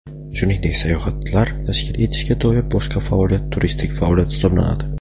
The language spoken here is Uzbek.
shuningdek sayohatlar tashkil etishga doir boshqa faoliyat turistik faoliyat hisoblanadi.